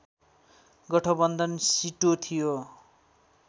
गठबन्धन सिटो थियो